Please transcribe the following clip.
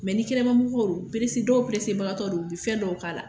ni kɛnɛmamɔgɔ don dɔw bilisi dɔw bagatɔ don u bɛ fɛn dɔw k'a la